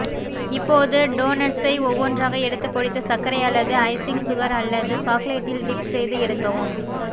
இப்போது டோனட்ஸை ஒவ்வொன்றாக எடுத்து பொடித்த சர்க்கரை அல்லது ஐசிங் சுகர் அல்லது சாக்லேட்டில் டிப் செய்து எடுக்கவும்